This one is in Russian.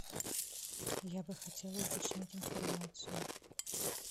я бы хотела уточнить информацию